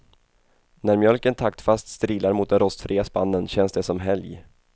När mjölken taktfast strilar mot den rostfria spannen känns det som helg.